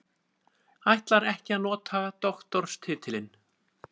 Ætlar ekki að nota doktorstitilinn